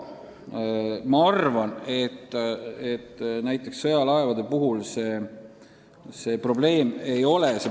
Ma arvan siiski, et näiteks sõjalaevade puhul seda probleemi ei ole.